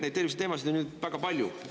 Neid terviseteemasid on väga palju.